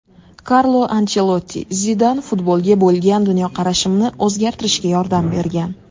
Karlo Anchelotti: Zidan futbolga bo‘lgan dunyoqarashimni o‘zgartirishga yordam bergan.